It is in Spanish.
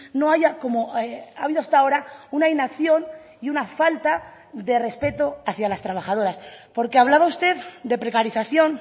no haya como ha habido hasta ahora una inacción y una falta de respeto hacia las trabajadoras porque hablaba usted de precarización